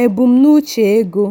embumnuche ego.